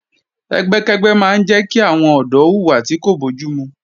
Ẹgbẹ́kẹ́gbẹ́ máa ń jẹ́ kí àwọn ọ̀dọ́ hùwà tí kò bójúmu